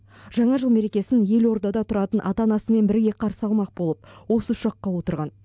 жаңа жыл мерекесін елордада тұратын ата анасымен бірге қарсы алмақ болып осы ұшаққа отырған